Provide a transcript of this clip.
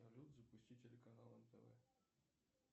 салют запусти телеканал нтв